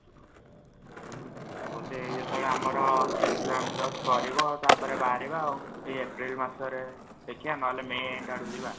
ମୁଁ ହଉଛି ଆମେ ଯେତେବେଳେ ଆମର exam just ସରିବ ତାପରେ ବାହାରିବା ଆଉ ଏଇ april ମାସରେ ଦେଖିଆ ନହେଲେ may end ଆଡକୁ ଯିବା |